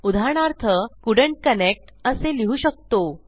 उदाहरणार्थ couldn't connect असे लिहू शकतो